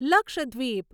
Lakshadweep